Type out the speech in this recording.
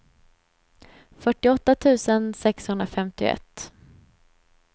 fyrtioåtta tusen sexhundrafemtioett